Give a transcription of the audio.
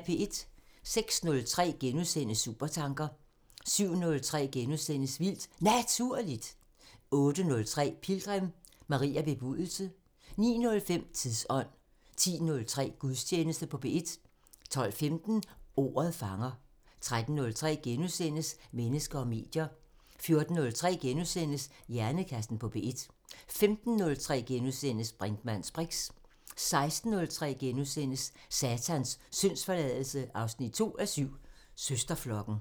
06:03: Supertanker * 07:03: Vildt Naturligt * 08:03: Pilgrim – Maria Bebudelse 09:05: Tidsånd 10:03: Gudstjeneste på P1 12:15: Ordet fanger 13:03: Mennesker og medier * 14:03: Hjernekassen på P1 * 15:03: Brinkmanns briks * 16:03: Satans syndsforladelse 2:7 – Søsterflokken *